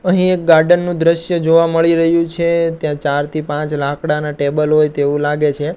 અહીં એક ગાર્ડન નું દ્રશ્ય જોવા મળી રહ્યુ છે ત્યાં ચાર થી પાંચ લાકડાનાં ટેબલ હોય તેવુ લાગે છે.